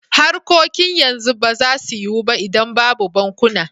Harkokin yanzu ba za su yiwu ba idan babu bankuna.